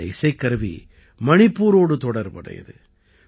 இந்த இசைக்கருவி மணிப்பூரோடு தொடர்புடையது